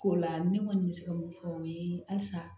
K'o la ne kɔni bɛ se ka mun fɔ o ye halisa